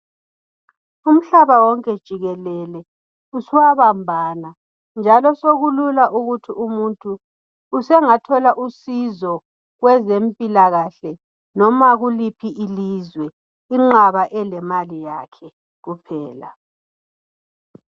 Umhlaba wonke jikelele sowabambana njalo sokulula ukuthi umuntu usengathola usizo kwezempila kahle loma kuliphi ilizwe inxaba elemali yakhe kuphela